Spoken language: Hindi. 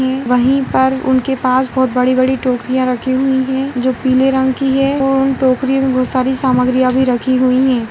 एं वहीं पर उनके पास बहोत बड़ी-बड़ी टोकरियां रखी हुई हैं जो पीले रंग की हैं और उन टोकरियों में सारी सामग्रियां भी रखी हुई हैं।